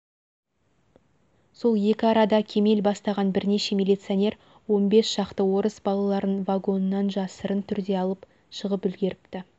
сол екі арада кемел бастаған бірнеше миллицонер он бес шақты орыс балаларын вагонан жасырын түрде алып шығып үлегріпті